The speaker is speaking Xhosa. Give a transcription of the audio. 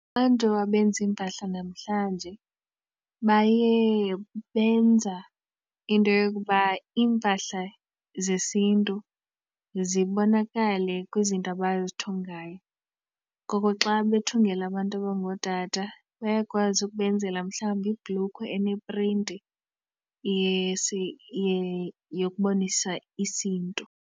Abantu abenza iimpahla namhlanje baye benza into yokuba iimpahla zesintu zibonakale kwizinto abazithungayo. Ngoko xa bethungela abantu abangootata bayakwazi ukubenzela mhlawumbi iibhlukhwe eneprinti yokubonisa isiNtu.